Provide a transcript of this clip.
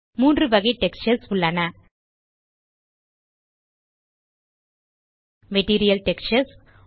மூன்று வகை டெக்ஸ்சர்ஸ் உள்ளன மெட்டீரியல் டெக்ஸ்சர்ஸ்